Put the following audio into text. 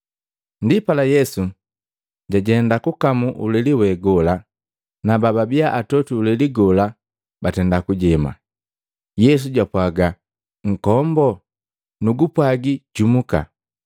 Ndipala Yesu, jajenda kukamu uleli we gola, na bababia atotwi uleli gola batenda kujema. Yesu japwaga, “Nkomboo! Nugupwaji jumuka!”